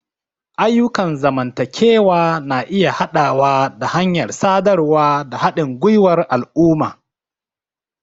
Ayyukan zamantakewa na iya haɗawa da hanyar sadarwa da haɗin gwiwar al'umma.